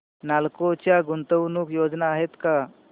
नालको च्या गुंतवणूक योजना आहेत का